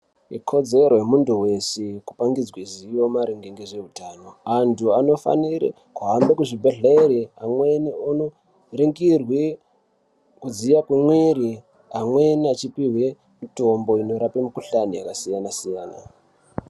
Ikodzero yemuntu veshe kupangidzwa zivo maringe ngezveitano. Antu anofanire kuhambe kuzvibhedhlere, amweni onoringirwe kudziye kwemwiri, amwena achipihwe mitombo inorape mikuhlani yakasiyana-siyana.